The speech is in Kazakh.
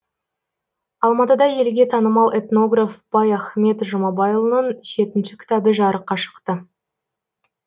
алматыда елге танымал этнограф байахмет жұмабайұлының жетінші кітабы жарыққа шықты